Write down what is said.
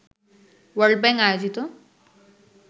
world bank আয়োজিত